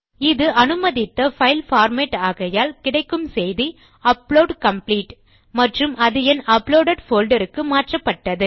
இது அனுமதித்த file format ஆகையால் கிடைக்கும் செய்தி அப்லோட் காம்ப்ளீட் மற்றும் அது என் அப்லோடெட் போல்டர் க்கு மாற்றப்பட்டது